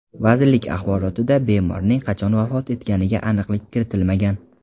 Vazirlik axborotida bemorning qachon vafot etganiga aniqlik kiritilmagan.